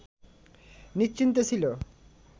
নিশ্চিন্তে ছিল